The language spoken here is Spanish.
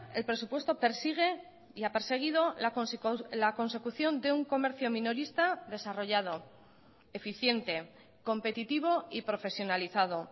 el presupuesto persigue y ha perseguido la consecución de un comercio minorista desarrollado eficiente competitivo y profesionalizado